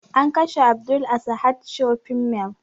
An kashe abdul a sahad shopping mall